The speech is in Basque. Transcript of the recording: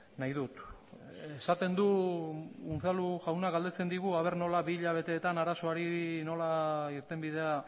nahi dut esaten du unzalu jaunak galdetzen digu ea nola bi hilabeteetan arazoari nola irtenbidea